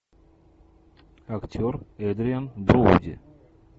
актер эдриан броуди